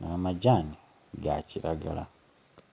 n'amagyani ga kiragala